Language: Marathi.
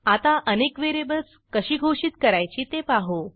आता अनेक व्हेरिएबल्स कशी घोषित करायची ते पाहू